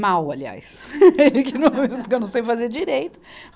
Mal, aliás, porque eu não sei fazer direito.